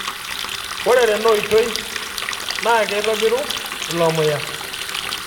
Ore Tena oitoi naa keitobiru ilo muya